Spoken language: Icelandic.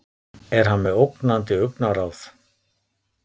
er hann með ógnandi augnaráð